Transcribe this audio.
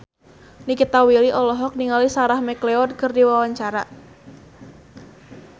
Nikita Willy olohok ningali Sarah McLeod keur diwawancara